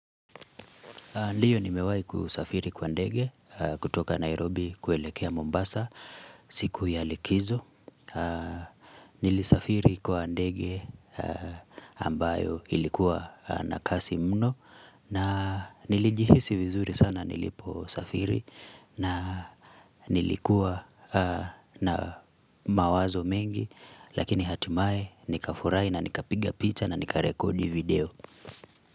Ndiyo nimewahi kusafiri kwa ndege kutoka Nairobi kuelekea Mombasa siku ya likizo. Nilisafiri kwa ndege ambayo ilikuwa na kasi mno na nilijihisi vizuri sana nilipo safiri na nilikuwa na mawazo mengi lakini hatimaye nikafurai na nikapiga picha na nikarekodi video.